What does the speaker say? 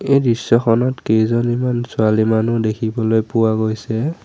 এই দৃশ্যখনত কেইজনীমান ছোৱালী মানুহ দেখিবলৈ পোৱা গৈছে।